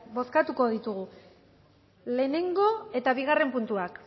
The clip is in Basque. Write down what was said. bozkatuko ditugu lehenengo eta bigarren puntuak